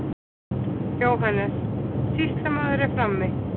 JÓHANNES: Sýslumaður er frammi.